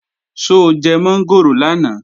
Ṣó jẹ mọ́ngòrò lánàá?